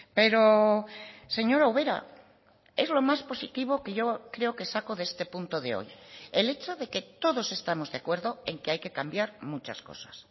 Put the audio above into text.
pero señora ubera es lo más positivo que yo creo que saco de este punto de hoy el hecho de que todos estamos de acuerdo en que hay que cambiar muchas cosas